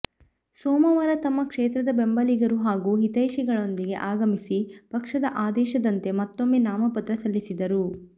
ಸೋಮವಾರ ತಮ್ಮ ಕ್ಷೇತ್ರದ ಬೆಂಬಲಿಗರು ಹಾಗೂ ಹಿತೈಷಿಗಳೊಂದಿಗೆ ಆಗಮಿಸಿ ಪಕ್ಷದ ಆದೇಶದಂತೆ ಮತ್ತೊಮ್ಮೆ ನಾಮಪತ್ರ ಸಲ್ಲಿಸಿದರು